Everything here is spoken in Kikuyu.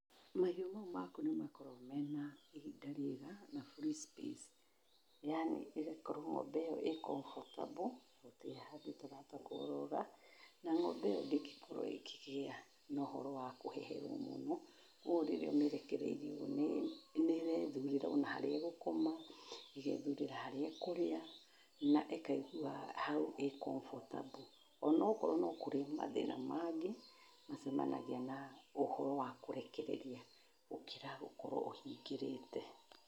Mahiũ mau maku nĩmakoragũo mena ihinda riega na [c] free space, yaani, ĩgakorwo ng'ombe ĩyo ĩ comfortable gũtirĩ handũ ĩtarahota kũrũra, na ng'ombe ĩyo ndĩngĩkorwo ĩkĩgĩa na ũhoro wa kũheherũo mũno, ũũ rĩrĩa ũmĩrekereirie ũguo nĩrethurĩra ona harĩa ĩgũkoma, ĩgethurĩra harĩa ĩkũrĩa, na ĩkaigua hau ĩ comfortable, onokorwo no kũrĩ mathĩna mangĩ, macemanagia na ũhoro wa kũrekereria, gũkĩra gũkorwo ũhingĩrĩte.